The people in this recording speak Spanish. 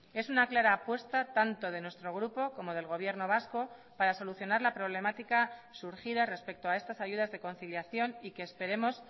es una clara apuesta tanto de nuestro grupo como del gobierno vasco para solucionar la problemática surgida respecto a estas ayudas de conciliación y que esperemos